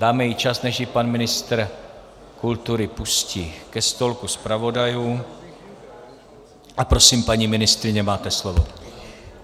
Dáme jí čas, než ji pan ministr kultury pustí ke stolku zpravodajů, a prosím, paní ministryně, máte slovo.